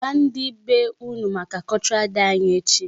Gwa ndị be unu maka Cultural Day anyị echi.